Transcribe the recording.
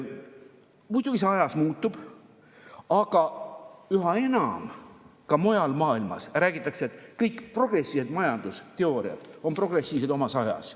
Muidugi see ajas muutub, aga üha enam ka mujal maailmas räägitakse, et kõik progressiivsed majandusteooriad on progressiivsed omas ajas.